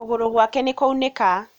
Kũgũrũ gwake nĩkwaunĩka